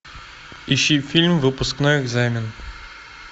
ищи фильм выпускной экзамен